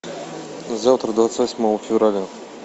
завтра двадцать восьмого февраля